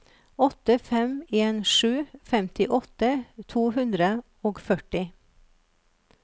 åtte fem en sju femtiåtte to hundre og førti